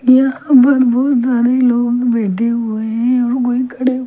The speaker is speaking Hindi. यहां पर बहुत सारे लोग बैठे हुए हैं और कोई खड़े --